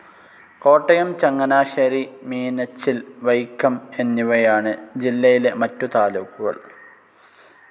കോട്ടയം, ചങ്ങനാശ്ശേരി, മീനച്ചിൽ, വൈക്കം എന്നിവയാണ് ജില്ലയിലെ മറ്റു താലൂക്കുകൾ.